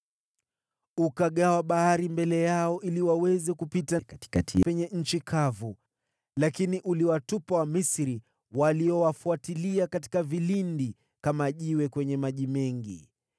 Ukagawa bahari mbele yao, ili waweze kupita katikati yake penye nchi kavu, lakini uliwatupa Wamisri waliowafuatilia katika vilindi, kama jiwe kwenye maji mengi.